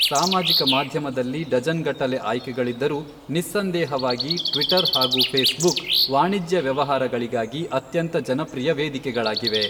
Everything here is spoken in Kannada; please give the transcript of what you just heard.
ಸಾಮಾಜಿಕ ಮಾಧ್ಯಮದಲ್ಲಿ ಡಜನ್ ಗಟ್ಟಲೆ ಆಯ್ಕೆಗಳಿದ್ದರೂ, ನಿಸ್ಸಂದೇಹವಾಗಿ ಟ್ವಿಟರ್ ಹಾಗೂ ಫೇಸ್ಬುಕ್ ವಾಣಿಜ್ಯ ವ್ಯವಹಾರಗಳಿಗಾಗಿ ಅತ್ಯಂತ ಜನಪ್ರಿಯ ವೇದಿಕೆಗಳಾಗಿವೆ.